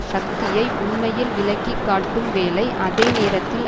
சக்தியை உண்மையில் விளக்கிக்காட்டும் வேளைஅதேநேரத்தில்